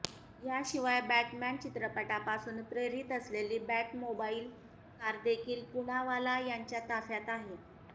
याशिवाय बॅटमॅन चित्रपटापासून प्रेरित असलेली बॅटमोबाईल कार देखील पुनावाला यांच्या ताफ्यात आहे